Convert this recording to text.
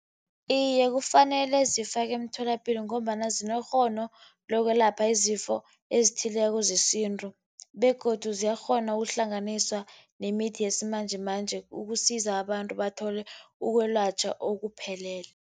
Iye, kufanele zifakwe emtholapilo, ngombana zinekghono lokwelapha izifo ezithileko zesintu. Begodu ziyakghona ukuhlanganiswa nemithi yesimanjemanje ukusiza abantu bathole ukwelatjhwa okuphelele.